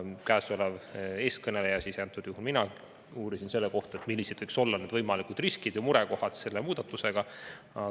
Teie ees kõneleja ehk mina uurisin selle kohta, millised võiks olla võimalikud riskid ja murekohad selle muudatusega.